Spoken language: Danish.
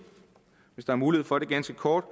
hvis der er mulighed for det ganske kort